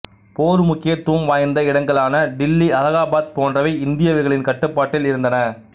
போர் முக்கியத்துவம் வாய்ந்த இடங்களான டில்லிஅலாகாபாத் போன்றவை இந்திய வீரர்களின் கட்டுப்பாட்டில் இருந்தன